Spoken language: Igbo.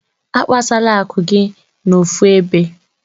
Akpasala akụ gị n'ofu ebe.